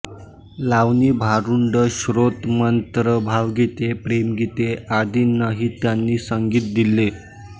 लावणी भारुडं स्तोत्र मंत्र भावगीते प्रेमगीते आदींनाही त्यांनी संगीत दिले